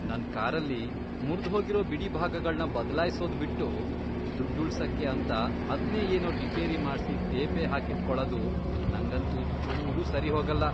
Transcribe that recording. ನನ್ ಕಾರಲ್ಲಿ ಮುರ್ದ್ಹೋಗಿರೋ ಬಿಡಿಭಾಗಗಳ್ನ ಬದ್ಲಾಯ್ಸೋದ್ ಬಿಟ್ಟು ದುಡ್ಡ್ ಉಳ್ಸಕ್ಕೆ ಅಂತ ಅದ್ನೇ ಏನೋ ರಿಪೇರಿ ಮಾಡ್ಸಿ ತೇಪೆ ಹಾಕಿಟ್ಕೊಳದು ನಂಗಂತೂ ಚೂರೂ ಸರಿಹೋಗಲ್ಲ.